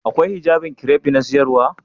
Akwai hijabin kiref na siyarwa?